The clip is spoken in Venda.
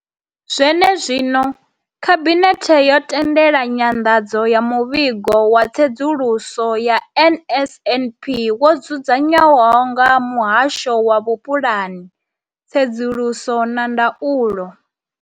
Zwene zwino, Khabinethe yo tendela nyanḓadzo ya Muvhigo wa Tsedzuluso ya NSNP wo dzudzanywaho nga Muhasho wa Vhupulani, Tsedzuluso na Ndaulo.